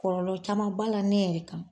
Kɔlɔlɔ caman b'a la ne yɛrɛ kan.